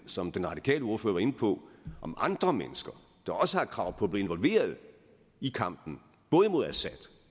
som den radikale ordfører var inde på om andre mennesker der også har et krav på at blive involveret i kampen både mod assad